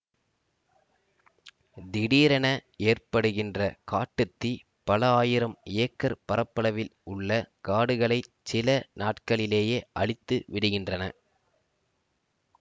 திடீரென ஏற்படுகின்ற காட்டு தீ பல ஆயிரம் ஏக்கர் பரப்பளவில் உள்ள காடுகளைச் சில நாட்களிலேயே அழித்து விடுகின்றன